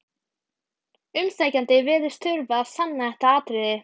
Umsækjandi virðist þurfa að sanna þetta atriði.